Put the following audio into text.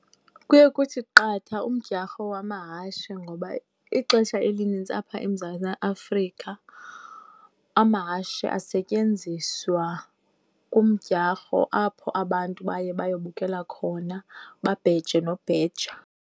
Kuye kuthi qatha umdyarho wamahashe. Ngoba ixesha elinintsi apha eMzantsi Afrika amahashe asetyenziswa kumdyarho apho abantu baye bayobukela khona, babheje nobheja.